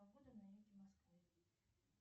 погода на юге москвы